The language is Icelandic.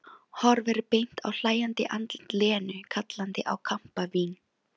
Horfir beint á hlæjandi andlit Lenu kallandi á kampavín.